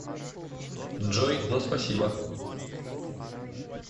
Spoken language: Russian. джой но спасибо